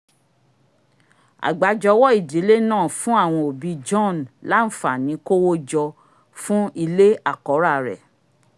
àgbájọwọ́ ìdílé náà fún àwọn òbi john láàfàní kówó jọ fún ilé àkọ́rà rẹ̀